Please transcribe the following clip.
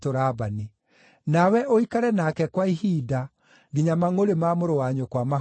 Nawe ũikare nake kwa ihinda nginya mangʼũrĩ ma mũrũ wa nyũkwa mahũahũe.